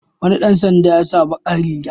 Wani ɗan sanda ya sa baƙar riga.